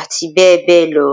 ati be be lo